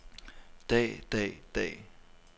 dag dag dag